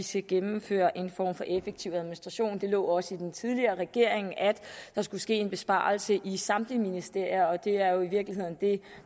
skal gennemføre en form for effektiv administration det lå også i den tidligere regering at der skulle ske en besparelse i samtlige ministerier og det er jo i virkeligheden det